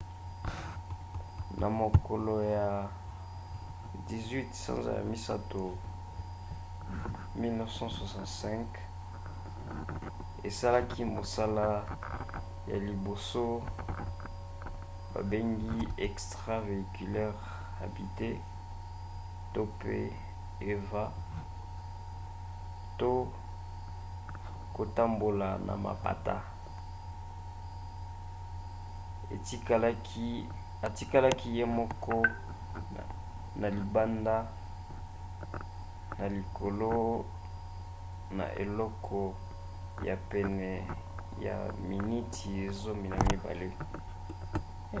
na mokolo ya 18 sanza ya misato 1965 asalaki mosala ya liboso babengi extravéhiculaire habitée eva to kotambola na mapata atikalaki ye moko na libanda na likolo na eleko ya pene ya miniti zomi na mibale